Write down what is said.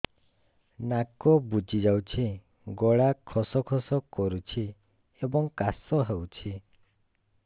ନାକ ବୁଜି ଯାଉଛି ଗଳା ଖସ ଖସ କରୁଛି ଏବଂ କାଶ ହେଉଛି